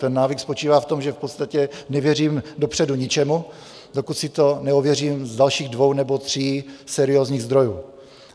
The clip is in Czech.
Ten návyk spočívá v tom, že v podstatě nevěřím dopředu ničemu, dokud si to neověřím z dalších dvou nebo tří seriózních zdrojů.